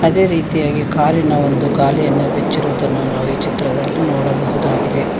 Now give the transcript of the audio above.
ಅದೇ ರೀತಿಯಾಗಿ ಕಾರಿನ ಒಂದು ಗಾಲಿಯನ್ನ ಬಿಚ್ಚಿರುವುದನ್ನು ನಾವು ಈ ಚಿತ್ರದಲ್ಲಿ ನೋಡಬಹುದಾಗಿದೆ.